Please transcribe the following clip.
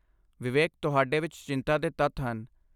ਵਿਵੇਕ, ਤੁਹਾਡੇ ਵਿੱਚ ਚਿੰਤਾ ਦੇ ਤੱਤ ਹਨ।